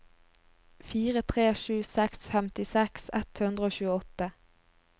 fire tre sju seks femtiseks ett hundre og tjueåtte